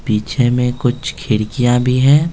पीछे में कुछ खिड़कियां भी हैं।